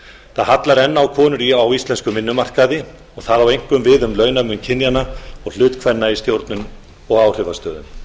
það hallar enn á konur á íslenskum vinnumarkaði og það á einkum við um launamun kynjanna og hlut kvenna í stjórnum og áhrifastöðum